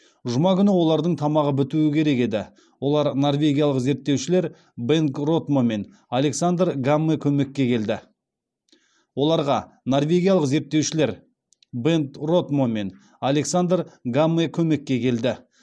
жұма күні олардың тамағы бітуі керек еді оларға норвегиялық зерттеушілер бенгт ротмо мен александр гамме көмекке келді